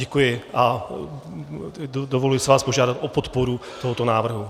Děkuji a dovoluji si vás požádat o podporu tohoto návrhu.